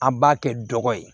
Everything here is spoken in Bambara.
An b'a kɛ dɔgɔ ye